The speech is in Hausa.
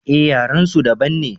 eh yaren su daban ne